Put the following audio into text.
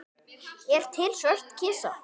Er til svört kista?